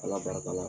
Ala barika la